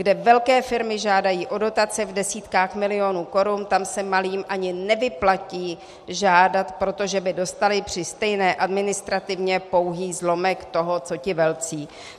Kde velké firmy žádají o dotace v desítkách milionů korun, tam se malým ani nevyplatí žádat, protože by dostaly při stejné administrativě pouhý zlomek toho co ti velcí.